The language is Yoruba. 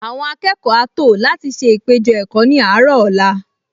Àwọn akẹ́kọ̀ọ á tò láti ṣe ìpéjọ-ẹ̀kọ́ ní àárọ̀ ọ̀la